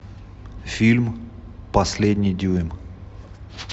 фильм последний дюйм